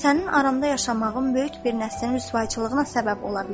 Sənin aranda yaşamağım böyük bir nəslin rüsvayçılığına səbəb ola bilər.